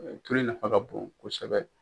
tulu in nafa ka bon kosɛbɛ.